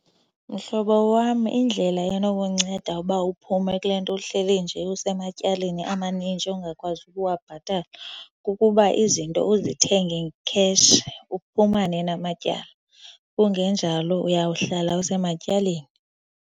Mhlobo wam, indlela enokunceda uba uphume kule nto uhleli nje usematyaleni amanintshi ongakwazi ukuwabhatala kukuba izinto uzithenge cash, uphumane namatyala. Kungenjalo uyawuhlala usematyaleni.